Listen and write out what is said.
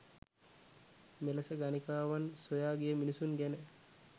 මෙලෙස ගණිකාවන් සොයා ගිය මිනිසුන් ගැන